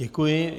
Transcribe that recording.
Děkuji.